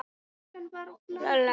Gyðríður, lækkaðu í græjunum.